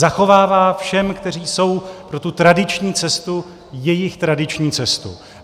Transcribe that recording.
Zachovává všem, kteří jsou pro tu tradiční cestu, jejich tradiční cestu.